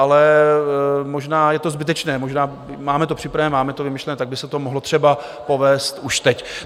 Ale možná je to zbytečné, možná, máme to připravené, máme to vymyšlené, tak by se to mohlo třeba povést už teď.